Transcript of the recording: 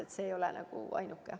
Praegune ei ole kindlasti ainuke.